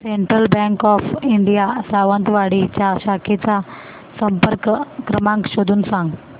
central bank of India Sawantwadi च्या शाखेचा संपर्क क्रमांक शोधून सांग